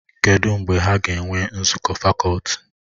Kedụ mgbe ha ga-enwe nzukọ fakọlti?